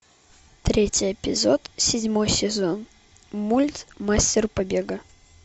третий эпизод седьмой сезон мульт мастер побега